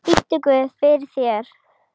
Biddu guð fyrir þér.